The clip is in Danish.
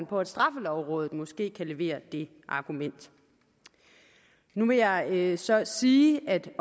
på at straffelovrådet måske kan levere det argument nu vil jeg så sige at jeg